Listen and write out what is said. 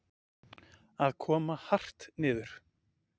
Að koma hart niður